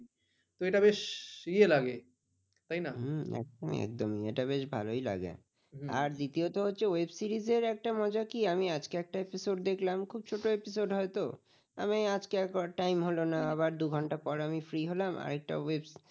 হ্যাঁ একদমই এটা বেশ ভালই লাগে আর দ্বিতীয়ত হচ্ছে web series একটা মজা কি আমি একটা আজকে episode দেখলাম খুব ছোট episode হয় তো আমি আজকে আর time হলো না আবার দু'ঘণ্টা পর আমি free হলাম আর একটা web series